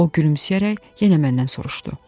O gülümsəyərək yenə məndən soruşdu.